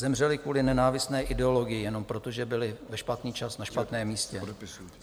Zemřeli kvůli nenávistné ideologii jenom proto, že byli ve špatný čas na špatném místě.